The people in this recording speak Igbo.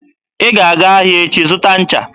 Ị ga-aga ahịa echi zụta ncha!